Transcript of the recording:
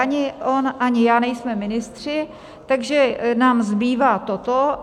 Ani on, ani já nejsme ministři, takže nám zbývá toto.